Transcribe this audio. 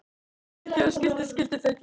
Þaut hjá skilti skilti þaut hjá